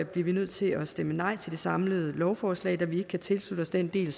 bliver vi nødt til at stemme nej til det samlede lovforslag da vi ikke kan tilslutte os den del